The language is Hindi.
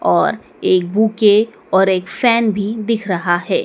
और एक बुके और एक फैन भी दिख रहा है।